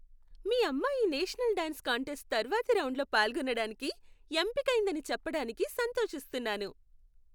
మీ అమ్మాయి national dance contest తర్వాతి రౌండ్లో పాల్గొనడానికి, ఎంపికైందని చెప్పడానికి సంతోషిస్తున్నాను.